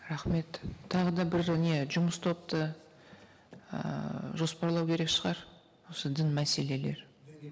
рахмет тағы да бір не жұмыс топты ыыы жоспарлау керек шығар осы дін мәселелер